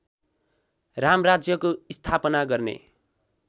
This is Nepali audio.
रामराज्यको स्थापना गर्ने